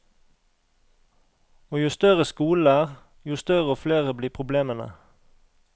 Og jo større skolene er, jo større og flere blir problemene.